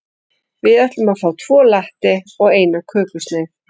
Við ætlum að fá tvo latte og eina kökusneið.